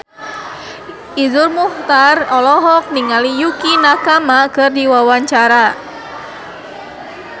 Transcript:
Iszur Muchtar olohok ningali Yukie Nakama keur diwawancara